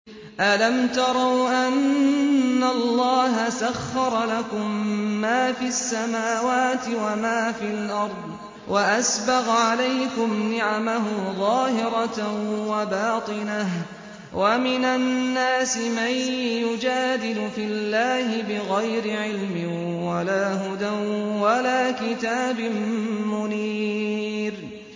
أَلَمْ تَرَوْا أَنَّ اللَّهَ سَخَّرَ لَكُم مَّا فِي السَّمَاوَاتِ وَمَا فِي الْأَرْضِ وَأَسْبَغَ عَلَيْكُمْ نِعَمَهُ ظَاهِرَةً وَبَاطِنَةً ۗ وَمِنَ النَّاسِ مَن يُجَادِلُ فِي اللَّهِ بِغَيْرِ عِلْمٍ وَلَا هُدًى وَلَا كِتَابٍ مُّنِيرٍ